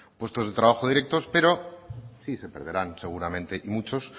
puestos de trabajo directos pero sí se perderán seguramente y muchos